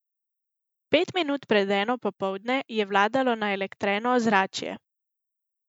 Pet minut pred eno popoldne je vladalo naelektreno ozračje.